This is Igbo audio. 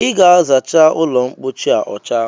I ga-azacha ụlọmpochi a ọcha